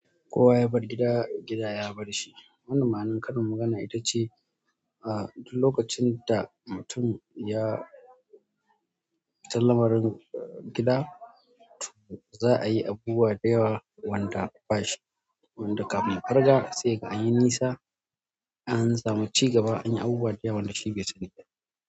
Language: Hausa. Kowa ya bar gida, gida ya bar shi. Wannan ma'anar karin magana ita ce a duk lokacin da mutum ya fita lamarin gida, to za a yi abubuwa da yawa wanda bashi, wanda kafin ya farga sai ya ga anyi nisa, an samu cigaba anyi abubuwa da yawa wanda shi bai sani ba.